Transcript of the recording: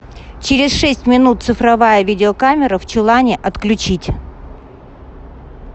через шесть минут цифровая видеокамера в чулане отключить